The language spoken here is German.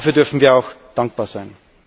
Dafür dürfen wir auch dankbar sein.